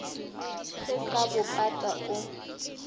se sa bo pata o